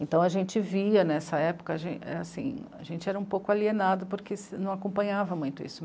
Então a gente via, nessa época, a gen... é assim... a gente era um pouco alienado, porque se, não acompanhava muito isso.